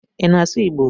Ị na-asụ Igbo?